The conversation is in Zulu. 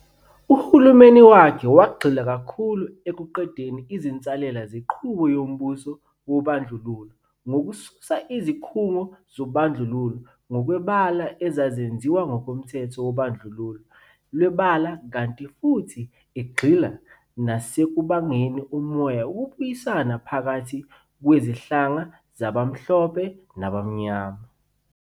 Uhulumeni wakhe wagxila kakhulu ekuqedeni izinsalela zenqubo yombuso wobandlululo ngokususa izikhungo zobandlululo ngokwebala ezazenziwe ngokomthetho wobandlululo lwebala kanti futhi egxila nasekubangeni umoya wokubuyisana phakathi kwezinhlanga zabamhlophe nabamnyama.